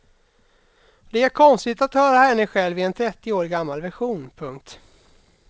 Det är konstigt att höra henne själv i en trettio år gammal version. punkt